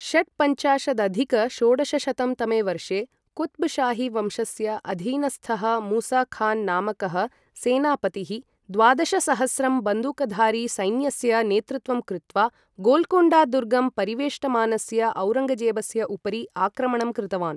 षट्पञ्चाशदधिक षोडशशतं तमे वर्षे, कुत्ब् शाहीवंशस्य अधीनस्थः मूसा खान् नामकः सेनापतिः द्वादशसहस्रं बन्दूकधारी सैन्यस्य नेतृत्वं कृत्वा गोल्कोण्डा दुर्गं परिवेष्टमानस्य औरङ्गजेबस्य उपरि आक्रमणं कृतवान्।